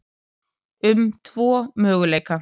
um tvo möguleika.